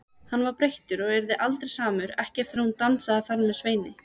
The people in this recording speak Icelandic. Hann var breyttur og yrði aldrei samur, ekki eftir að hún dansaði þar með Sveini.